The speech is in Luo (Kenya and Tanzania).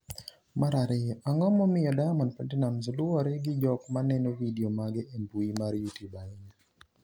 mar ariyo, Ang’o momiyo Diamond Platinumz luwre gi jok maneno vidio mage e mbui mar Youtube ahinya?